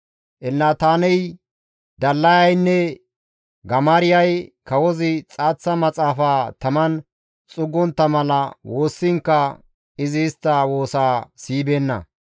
Elnataaney, Dallayaynne Gamaariyay kawozi xaaththa maxaafaa taman xuuggontta mala woossiinkka izi istta woosa siyibeenna.